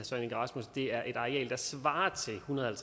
det er et areal der svarer til en hundrede og